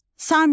Samitlər: